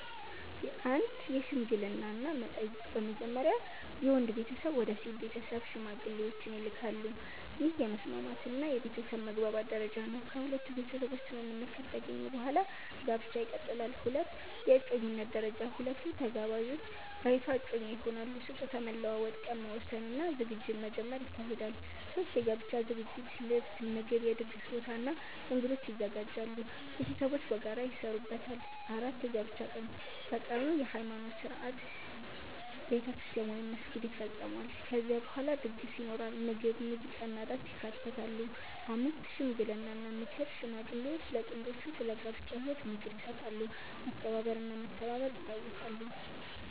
1) የሽምግልና እና መጠየቅ በመጀመሪያ የወንድ ቤተሰብ ወደ ሴት ቤተሰብ ሽማግሌዎችን ይልካሉ። ይህ የመስማማት እና የቤተሰብ መግባባት ደረጃ ነው። ከሁለቱ ቤተሰቦች ስምምነት ከተገኘ በኋላ ጋብቻ ይቀጥላል። 2) የእጮኝነት ደረጃ ሁለቱ ተጋባዦች በይፋ እጮኛ ይሆናሉ። ስጦታ መለዋወጥ፣ ቀን መወሰን እና ዝግጅት መጀመር ይካሄዳል። 3) የጋብቻ ዝግጅት ልብስ፣ ምግብ፣ የድግስ ቦታ እና እንግዶች ይዘጋጃሉ። ቤተሰቦች በጋራ ይሰሩበታል። 4) የጋብቻ ቀን በቀኑ የሃይማኖት ሥነ ሥርዓት (ቤተክርስቲያን ወይም መስጊድ) ይፈጸማል። ከዚያ በኋላ ድግስ ይኖራል፣ ምግብ፣ ሙዚቃ እና ዳንስ ይካተታሉ። 5) ሽምግልና እና ምክር ሽማግሌዎች ለጥንዶቹ ስለ ጋብቻ ህይወት ምክር ይሰጣሉ፣ መከባበር እና መተባበር ይታወሳሉ።